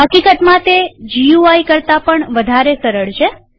હકીકતમાં તે ગુઈ કરતા પણ વધારે સરળ છે